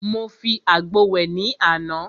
Mo fi àgbo wẹ̀ ní àná.